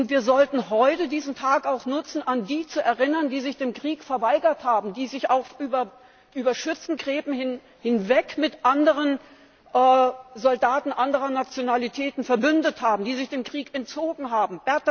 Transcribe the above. Wir sollten heute diesen Tag auch nutzen, an die zu erinnern, die sich dem Krieg verweigert haben, die sich über Schützengräben hinweg mit Soldaten anderer Nationalitäten verbündet haben, die sich dem Krieg entzogen haben.